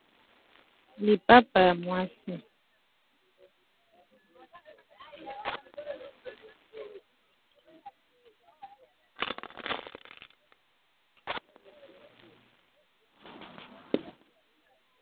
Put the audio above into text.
Lipapa ya mwasi, lipapa ya mwasi.